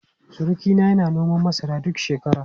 Surukina yana noman masara duk shekara.